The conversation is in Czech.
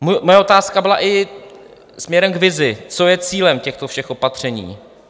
Moje otázka byla i směrem k vizi, co je cílem těchto všech opatření.